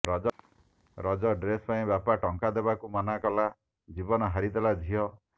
Raja dress ପାଇଁ ବାପା ଟଙ୍କା ଦେବାକୁ ମନା କଲା ଜୀବନ ହାରିଦେଲା ଝିଅ